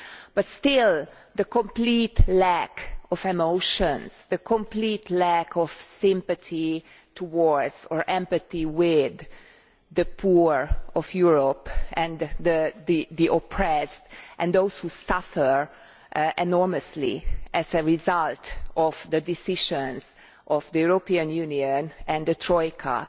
But still, the complete lack of emotion and the complete lack of sympathy towards, and empathy with, the poor of Europe and the oppressed and those who suffer enormously as a result of the decisions of the European Union and the Troika